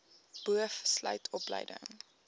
boov sluit opleiding